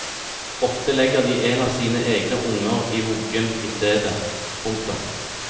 Ofte legger de en av sine egne unger i vuggen istedet. punktum